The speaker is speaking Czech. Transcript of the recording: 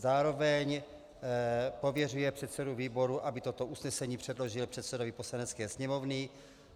Zároveň pověřuje předsedu výboru, aby toto usnesení předložil předsedovi Poslanecké sněmovny.